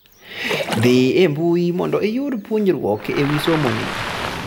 dhii e mbuyi mondo iyud puonjruok ewii somo ni